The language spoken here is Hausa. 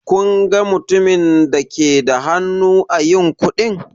Kin ga mutumin da ke da hannu ã yin kuɗi?